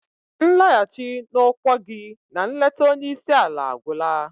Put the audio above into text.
Nlaghachi na okwá gi na nleta onye isi ala agwụla!.